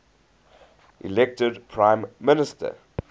elected prime minister